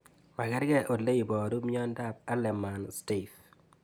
makarkei ole iparu miondop Hallermann Streiff